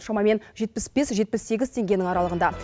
шамамен жетпіс бес жетпіс сегіз теңгенің аралығында